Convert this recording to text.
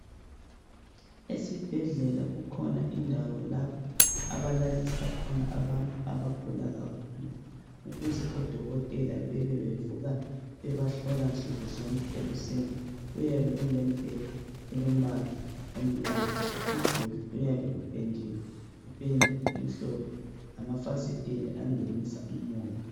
Esibhedlela kukhona indawo lapho abalalisa khona abantu abagula kakhulu ukuze odokotela bebe bevuka bebahlola nsukuzonke ekuseni kuyabe kulemibheda elombala omnyama umduli uyabe upendiwe ngependa emhlophe lamafasitela angenisa umoya